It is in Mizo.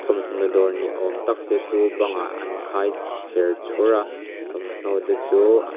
thawmhnaw dawr ni awm tak te chu bang ah an khai chher chhur a thawmhnaw te chu a--